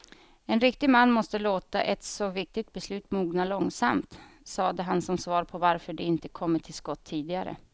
En riktig man måste låta ett så viktigt beslut mogna långsamt, sade han som svar på varför de inte kommit till skott tidigare.